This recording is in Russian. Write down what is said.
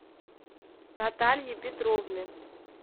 натальи петровны